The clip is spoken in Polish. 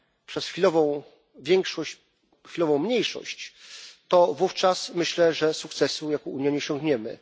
przez chwilową większość, chwilową mniejszość, to wówczas myślę, że sukcesu jako Unia nie osiągniemy.